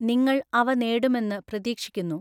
നിങ്ങൾ അവ നേടുമെന്ന് പ്രതീക്ഷിക്കുന്നു.